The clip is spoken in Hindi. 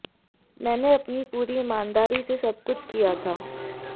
मैंने अपनी पूरी ईमानदारी से सब कुछ किया था